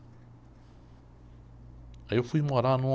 Aí eu fui morar numa...